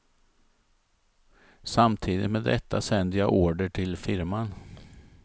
Samtidigt med detta sänder jag order till firman.